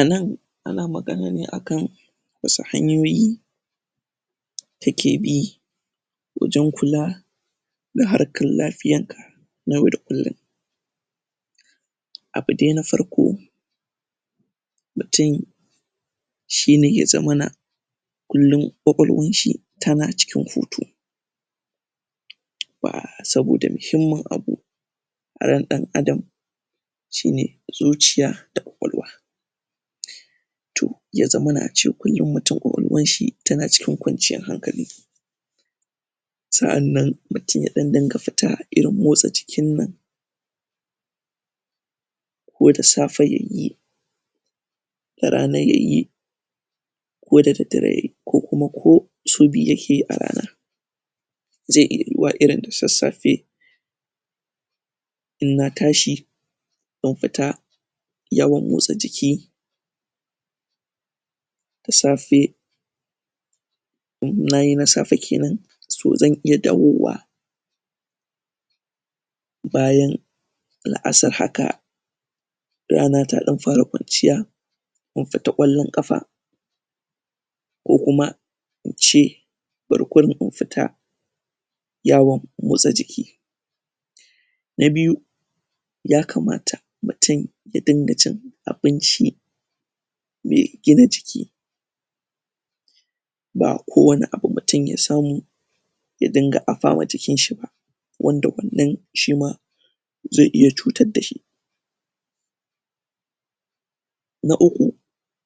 Anann an magana ne akan wasu hanyoyi da ake bi wajen kula da harkar lafiyarka yau da kullum abu dai na farko mutum shi ne ya zamana kullum kwakwal shi tana cikin hutu saboda muhimmin abu ran dan adam shi ne zuciya da kwakwalwa to ya zamana ace kullum mutum kwakwalwan shi tana cikin kwanciyan hankali sa'aan mutum ya dan dinga fita irin motsa jikin nan ko da safe yayi da rana yayi koda daddadre yayi, ku kuma ko sau biyu yake yi a rana zai iya yiyuwa irin da sassafe inna tashi in fita yawan motsa jiki da safe in nayi na safe kenan, so zan iya dawowa bayan la'asar haka rana da dan fara kwanciya in fita kwallon kafa kokuma ince bari kuma in fita yawan motsa na biyu ya kamata mutum ya dinga cin abinci mai kyau mai gina jiki ba ko me mutum ya samu ya dinga afa ma jikin shi ba wanda wannan shima zai iya cutar dashi na uku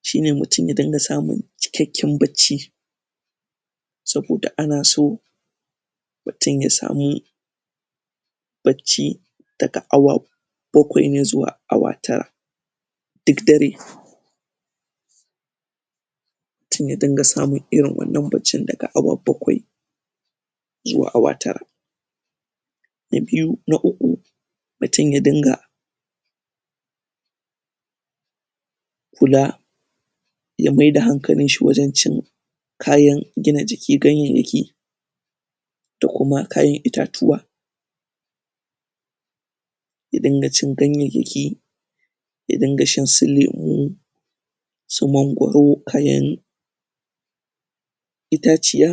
shi ne mukace ka inga samun cikakken bacci saboda ana so mutum ya samu bacci daga awa koku inayi awa tara dik dare mutum ya dinga irin wannan bacci daga awa bakwai zuwa awa tara na biyu... na uku mutum ya dinga kula ya maida hankalin shi wajen cin kayan gina jiki, ganganyaki da kuma kayan itatuwa ya dinga cin ganyanyaki ya ginga shan su lemo su mangoro, kayan.. itaciya